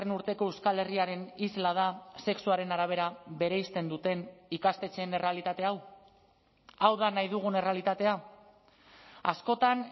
urteko euskal herriaren isla da sexuaren arabera bereizten duten ikastetxeen errealitate hau hau da nahi dugun errealitatea askotan